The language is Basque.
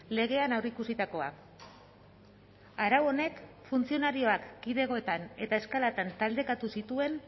legean aurreikusitakoa arau honek funtzionarioak kidegoetan eta eskalatan taldekatu zituen